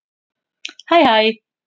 Hæ hæ